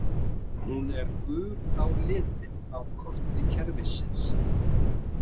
Hún er gul á litinn á korti kerfisins.